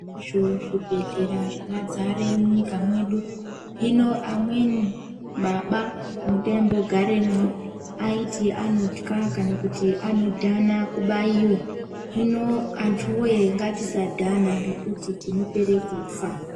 Izvo zvibhedhlera zvakadzare munyika mwedu, Hino amweni baba mwataimbogaremwo aiti anotya kana kuti anodhana kubaiwa. Hino antu woyee ngatisadhana ngekuti tinopere kufa.